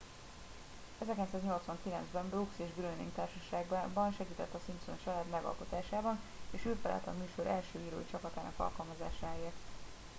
1989 ben brooks és groening társaságában segített a simpson család megalkotásában és ő felelt a műsor első írói csapatának alkalmazásáért